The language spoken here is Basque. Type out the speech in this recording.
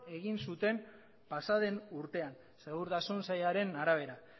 egin zuten pasa den urtean segurtasun sailaren arabera